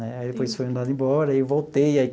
Né aí depois fui mandando embora e voltei.